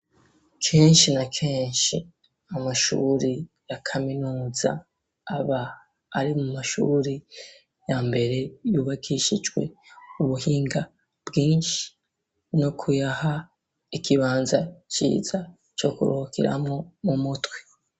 Kenshi na kenshi, amashuri ya kaminuza, aba, ari mu mashuri, ya mbere, yubakishijwe ubuhinga, bwinshi; no kuyaha, ikibanza ciza, co kuruhukiramwo, mu mutwe.